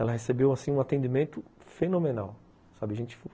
Ela recebeu assim um atendimento fenomenal, sabe, a gente